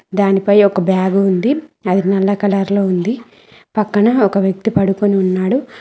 దానిపై ఒక బ్యాగ్ ఉంది అది నల్ల కలర్ లో ఉంది పక్కన ఒక వ్యక్తి పడుకొని ఉన్నాడు.